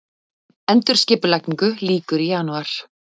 Endurskipulagningu lýkur í janúar